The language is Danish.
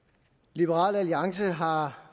liberal alliance har